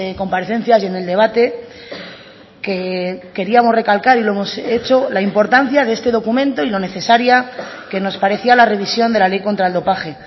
comparecencias y en el debate queríamos recalcar y lo hemos hecho la importancia de este documento y lo necesaria que nos parecía la revisión de la ley contra el dopaje